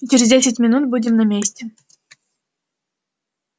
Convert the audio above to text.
и через десять минут будем на месте